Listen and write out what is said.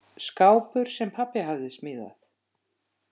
Skápur, sem pabbi hafði smíðað.